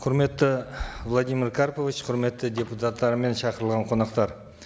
құрметті владимир карпович құрметті депутаттар мен шақырылған қонақтар